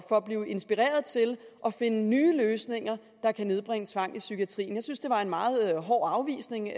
for at blive inspireret til at finde nye løsninger der kan nedbringe tvang i psykiatrien jeg synes det var en meget hård afvisning